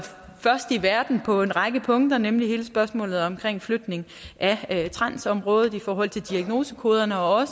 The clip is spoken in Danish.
først i verden igen på en række punkter nemlig hele spørgsmålet omkring flytning af transområdet i forhold til diagnosekoderne og